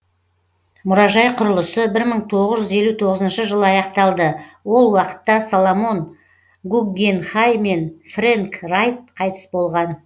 мұражай құрылысы бір мың тоғыз жүз елу тоғызыншы жылы аяқталды ол уақытта соломон гуггенхай мен фрэнк райт қайтыс болған